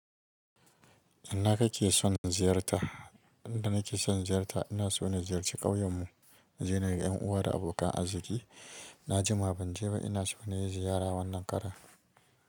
Ina kake son ziyarta? Inda nake son ziyarta ina so na ziyarci ƙauyen mu in je na ga yan uwa da abokan arziki. Na jima ban je ba ina so na yi ziyara wannan karen.